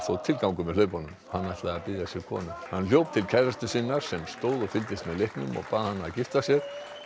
tilgang með hlaupunum hann ætlaði að biðja sér konu hann hljóp til kærustu sinnar sem stóð og fylgdist með leiknum og bað hana að giftast sér